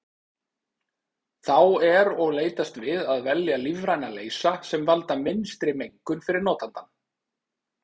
Þá er og leitast við að velja lífræna leysa sem valda minnstri mengun fyrir notandann.